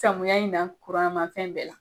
Samuya in na fɛn bɛɛ la.